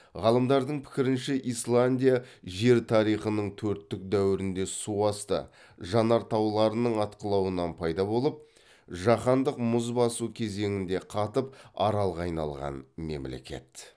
ғалымдардың пікірінше исландия жер тарихының төрттік дәуірінде су асты жанартауларының атқылауынан пайда болып жаһандық мұз басу кезеңінде қатып аралға айналған мемлекет